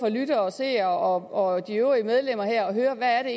lyttere og seere og de øvrige medlemmer at høre hvad det